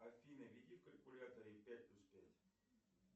афина введи в калькуляторе пять плюс пять